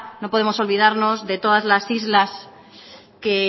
no podemos olvidarnos de todas las islas que